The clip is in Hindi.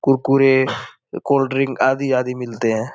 कुरकुरे कोल्डड्रिंक आदि -आदि मिलते हैं।